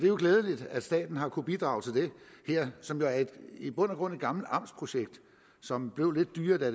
jo glædeligt at staten har kunnet bidrage til det her som i bund og grund er et gammelt amtsprojekt som blev lidt dyrere da